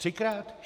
Třikrát?